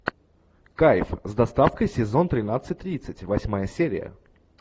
кайф с доставкой сезон тринадцать тридцать восьмая серия